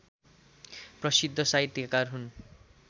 प्रशिद्ध साहित्यकार हुन्